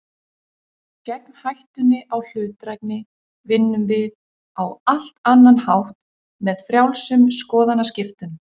Gegn hættunni á hlutdrægni vinnum við á allt annan hátt, með frjálsum skoðanaskiptum.